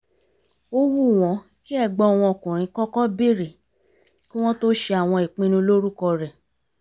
ó wù wọ́n kí ẹ̀gbọ́n wọn ọkùnrin kọ́kọ́ bèrè kí wọ́n tó ṣe àwọn ìpinnu lórúkọ rẹ̀